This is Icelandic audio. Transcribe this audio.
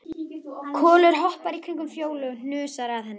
Kolur hoppar í kringum Fjólu og hnusar að henni.